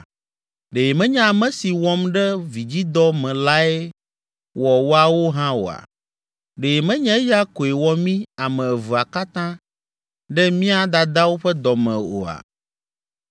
Ɖe menye ame si wɔm ɖe vidzidɔ me lae wɔ woawo hã oa? Ɖe menye eya koe wɔ mí ame evea katã ɖe mía dadawo ƒe dɔ me oa?